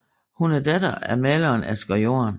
Hun er datter af maleren Asger Jorn